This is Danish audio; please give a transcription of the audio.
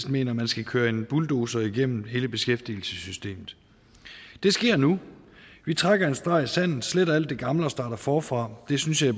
mener at man skal køre en bulldozer igennem hele beskæftigelsessystemet det sker nu vi trækker en streg i sandet sletter alt det gamle og starter forfra det synes jeg